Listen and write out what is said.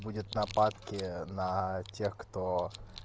будет нападки на тех кто